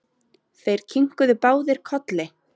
Þeir kinkuðu báðir kolli.